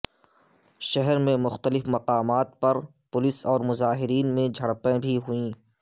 شہر میں مختلف مقامات پر پولیس اور مظاہرین میں جھڑپیں بھی ہوئیں